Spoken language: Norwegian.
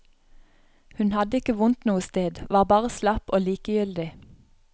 Hun hadde ikke vondt noe sted, var bare slapp og likegyldig.